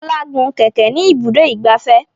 Fola gún kẹ̀kẹ́ ní Ibùdó ìgbafẹ́.